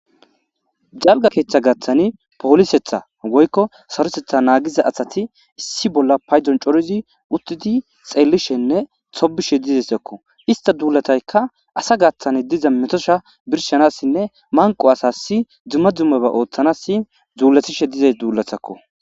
Jalga keeththa gaaththani poolisetha woykko sarosetha naagiza asati issi bolla paydon corizi uttidi xeellishenne tobishe dizesakko ista duulataykka asa gaththani diza metosha birshanassinne manqo asasi dzumma dzummaba ooththanasi zuulatishe dize dzuulathakko.